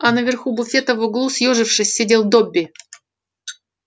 а на верху буфета в углу съёжившись сидел добби